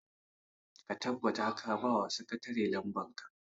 ka tabbata ka ba wa sakatare lamban ka!